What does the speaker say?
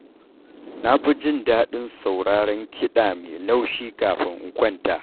Na fi jin daɗin sauraron kiɗa mai laushi kafin in kwanta.